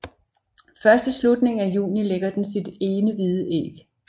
Først i slutningen af juni lægger den sit ene hvide æg